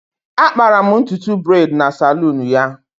Akpara'm ntutu braid na saloon ya